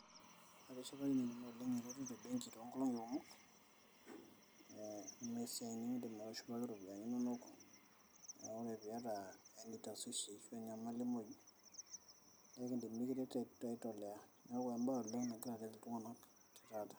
Atishipakine nanu eretoto embenki too nkolong'i kumok, amu esiai nikindim atushumaki iropiani inono. Kake ore pee iata any tashwishi ashu enyamali muj neidim nikiret aitolea neaku embank nagira aret iltung'ana oleng' te taata.